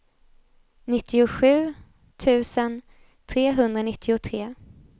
nittiosju tusen trehundranittiotre